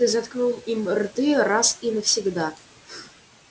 ты заткнул им рты раз и навсегда